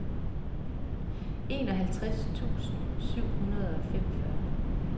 enoghalvtreds tusind syv hundrede og femogfyrre